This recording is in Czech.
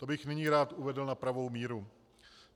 To bych nyní rád uvedl na pravou míru.